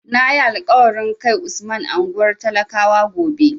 Na yi alƙawarin kai Usman unguwar talakawa gobe.